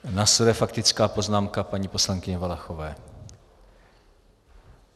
Následuje faktická poznámka paní poslankyně Valachové.